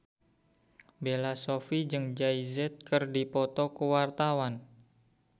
Bella Shofie jeung Jay Z keur dipoto ku wartawan